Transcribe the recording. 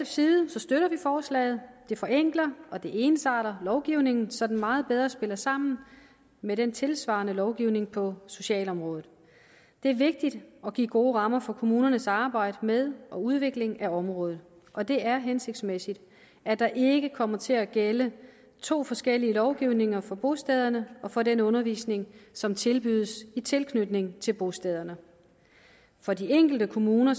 side støtter vi forslaget det forenkler og det ensarter lovgivningen så den meget bedre spiller sammen med den tilsvarende lovgivning på socialområdet det er vigtigt at give gode rammer for kommunernes arbejde med og udvikling af området og det er hensigtsmæssigt at der ikke kommer til at gælde to forskellige lovgivninger for bostederne og for den undervisning som tilbydes i tilknytning til bostederne for de enkelte kommuner